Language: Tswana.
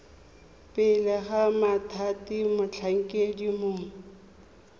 pele ga mothati motlhankedi mongwe